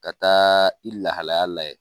Ka taa i lahalaya lajɛ.